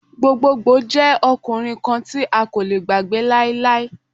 Gbogbogbo jẹ ọkunrin kan ti a ko le gbagbe lailai.